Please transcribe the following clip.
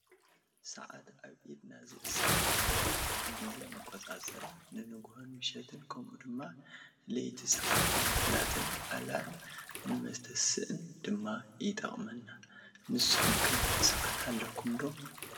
ሰዓት ኣብ ኢድና ዝእሰር እንትከውን ንግዜ መቆፃፀሪን ንንግሆን ምሸትን ከምኡ ድማ ሌይቲ ሰዓት ንመፍለጥን ኣላርም ንመተስእን ድማ ይጠቅና ንስኩም ከ ሰዓት ኣለኩም ዶ?